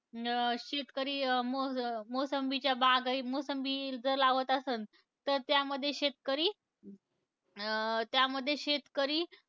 अं शेतकरी, अं मोस मोसंबीच्या बागा मोसंबी जर लावत आसंल तर त्यामध्ये शेतकरी, अं त्यामध्ये शेतकरी,